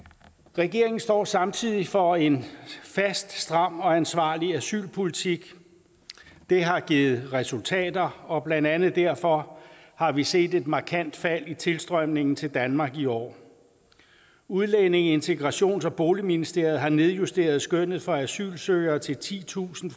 regeringen står samtidig for en fast stram og ansvarlig asylpolitik det har givet resultater og blandt andet derfor har vi set et markant fald i tilstrømningen til danmark i år udlændinge integrations og boligministeriet har nedjusteret skønnet for asylsøgere til titusind